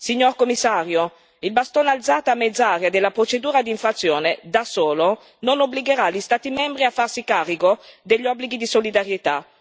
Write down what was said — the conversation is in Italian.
Signor Commissario, il bastone alzato a mezz'aria della procedura d'infrazione, da solo, non obbligherà gli Stati membri a farsi carico degli obblighi di solidarietà.